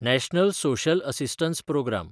national social assistance programme